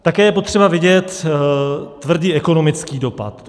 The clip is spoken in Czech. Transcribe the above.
Také je potřeba vidět tvrdý ekonomický dopad.